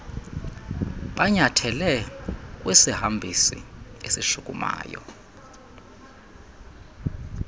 banyathele kwisihambisi esishukumayo